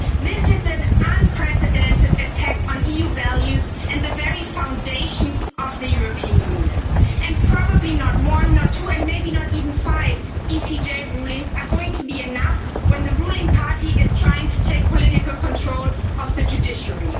This is an unprecedented attack on EU values and the very foundation of the European Union, and probably not one, not two, and maybe not even five, Court of Justice of the Eureopan Union rulings are going to be enough when the ruling party is trying to take political control of the judiciary.